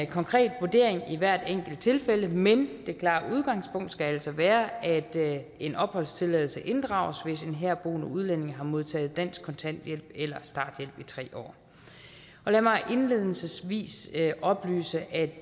konkret vurdering i hvert enkelt tilfælde men det klare udgangspunkt skal altså være at en opholdstilladelse inddrages hvis en herboende udlænding har modtaget dansk kontanthjælp eller starthjælp i tre år lad mig indledningsvis oplyse at